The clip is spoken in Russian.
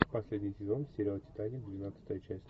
последний сезон сериал титаник двенадцатая часть